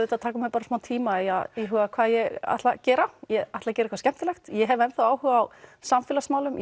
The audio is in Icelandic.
taka mér smá tíma í að íhuga hvað ég ætla að gera ég ætla að gera eitthvað skemmtilegt ég hef enn þá áhuga á samfélagsmálum